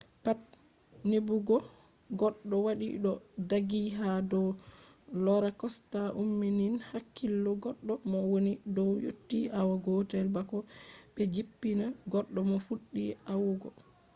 pat neɓugo goɗɗo waɗi ɗo ɗaggi ha dow rola kosta umminan hakkilo goɗɗo mo woni dow yotti awa gotel bako ɓe jippina goɗɗo mo fuɗɗi wa’ugo